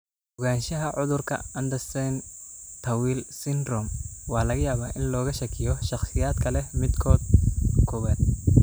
Ogaanshaha cudurka Andersen Tawil syndrome waxaa laga yaabaa in looga shakiyo shakhsiyaadka leh midkood: kowaad.